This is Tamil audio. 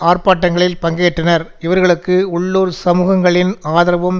ஆர்ப்பாட்டங்களில் பங்கேற்றனர் இவர்களுக்கு உள்ளூர் சமூகங்களின் ஆதரவும்